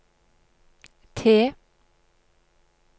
T